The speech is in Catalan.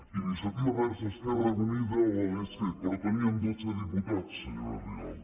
iniciativa verds esquerra unida ho hauria fet però teníem dotze diputats senyora rigau